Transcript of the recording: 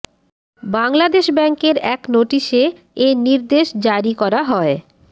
বাংলাদেশ ব্যাংকের এক নোটিশে এ নির্দেশনা জারি করা হয়